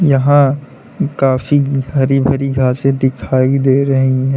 यहां काफी हरी भरी घासें दिखाई दे रही है।